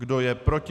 Kdo je proti?